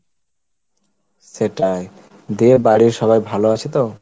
সেটাই,, দিয়ে বাড়ির সবাই ভালো আছো তো?